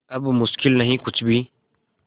अब मुश्किल नहीं कुछ भी